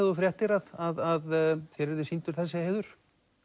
þú fréttir að þér yrði sýndur þessi heiður